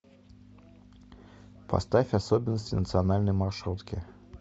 поставь особенности национальной маршрутки